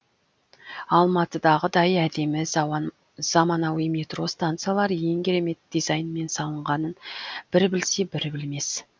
алматыдағыдай әдемі заманауи метро станциялар ең керемет дизайнмен салынғанын бірі білсе бірі білмес